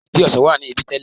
Igi ọsàn wà ní ibí tẹ́lẹ̀.